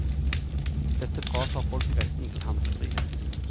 Dette fratar folk retten til handlefrihet.